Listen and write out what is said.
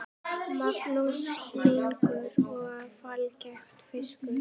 Magnús Hlynur: Og fallegur fiskur?